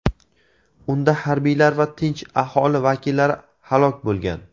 Unda harbiylar va tinch aholi vakillari halok bo‘lgan.